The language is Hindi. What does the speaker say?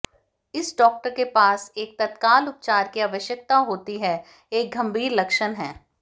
इस डॉक्टर के पास एक तत्काल उपचार की आवश्यकता होती है एक गंभीर लक्षण है